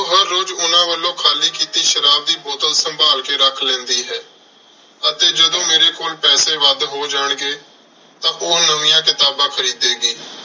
ਉਹ ਹਰ ਰੋਜ਼ ਉਨ੍ਹਾਂ ਵੱਲੋਂ ਖਾਲੀ ਕੀਤੀ ਸ਼ਰਾਬ ਦੀ ਬੋਤਲ ਸੰਭਾਲ ਕੇ ਰੱਖ ਲੈਂਦੀ ਹੈ ਅਤੇ ਜਦੋਂ ਮੇਰੇ ਕੋਲ ਪੈਸੇ ਵੱਧ ਹੋ ਜਾਣਗੇ ਤਾਂ ਉਹ ਨਵੀਆਂ ਕਿਤਾਬਾਂ ਖਰੀਦੇਗੀ